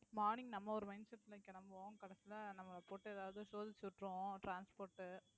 morning நம்ம ஒரு mind set ல கிளம்புவோம். கடைசியில நம்ம போட்டு ஏதாவது சோதிச்சுவிட்டிடும் transport உ